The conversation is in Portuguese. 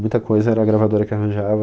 Muita coisa era a gravadora que arranjava.